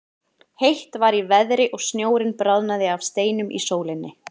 Heitt var í veðri og snjórinn bráðnaði af steinum í sólinni.